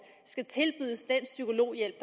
skal tilbydes den psykologhjælp